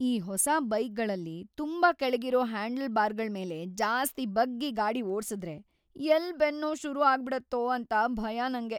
ಈ ಹೊಸ ಬೈಕ್ಗಳಲ್ಲಿ ತುಂಬಾ ಕೆಳ್ಗಿರೋ ಹ್ಯಾಂಡಲ್ಬಾರ್ಗಳ್ಮೇಲೆ ಜಾಸ್ತಿ ಬಗ್ಗಿ ಗಾಡಿ ಓಡ್ಸುದ್ರೆ ಎಲ್ಲ್ ಬೆನ್ನೋವ್‌ ಶುರು ಆಗ್ಬಿಡತ್ತೋ ಅಂತ ಭಯ ನಂಗೆ.